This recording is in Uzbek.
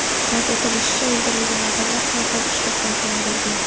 Qayd etilishicha, o‘ldirilgan odamlar har xil qishloqlardan bo‘lgan.